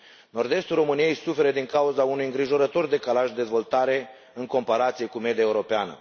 Nord estul României suferă din cauza unui îngrijorător decalaj de dezvoltare în comparație cu media europeană.